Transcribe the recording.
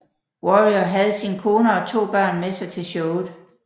Warrior havde sin kone og to børn med sig til showet